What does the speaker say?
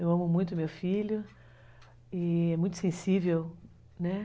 Eu amo muito meu filho e é muito sensível, né?